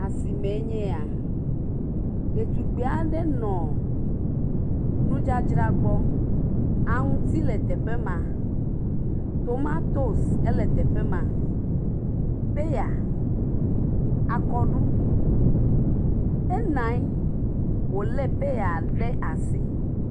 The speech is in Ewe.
Asimee nye ya. Ɖetugbi aɖe nɔ nudzadzra gbɔ. Aŋuti le teƒe ma. Tomatosi ele teƒe ma. Pɛya, akɔɖu, ena nyi wole pɛya ɖe asi.